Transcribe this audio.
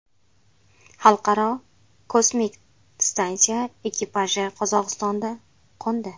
Xalqaro kosmik stansiya ekipaji Qozog‘istonda qo‘ndi.